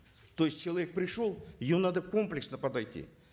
то есть человек пришел ее надо комплексно подойти